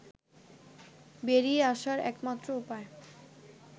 বেরিয়ে আসার একমাত্র উপায়